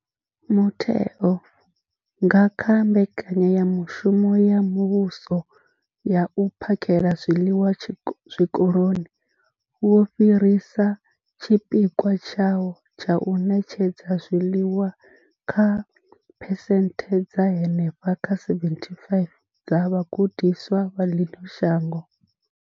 Mutheo, nga kha mbekanyamushumo ya muvhuso ya u phakhela zwiḽiwa zwikoloni, wo fhirisa tshipikwa tshawo tsha u ṋetshedza zwiḽiwa kha phesenthe dza henefha kha 75 dza vhagudiswa vha ḽino shango.